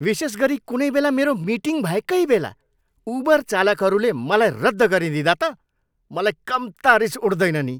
विशेष गरी कुनै बेला मेरो मिटिङ भएकै बेला उबर चालकहरूले मलाई रद्द गरिदिँदा त मलाई कम्ता रिस उठ्दैन नि।